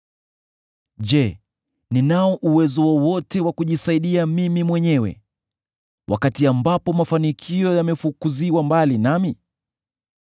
Je, ninao uwezo wowote wa kujisaidia mimi mwenyewe, wakati ambapo mafanikio yamefukuziwa mbali nami?